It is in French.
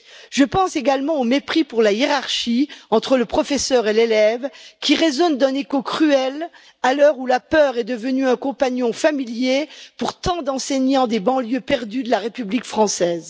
Je pense également au mépris pour la hiérarchie entre le professeur et l'élève, qui résonne d'un écho cruel à l'heure où la peur est devenue un compagnon familier pour tant d'enseignants des banlieues perdues de la République française.